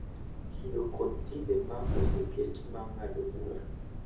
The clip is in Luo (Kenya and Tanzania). Kido kod timbe ma oseket ma ng’ado bura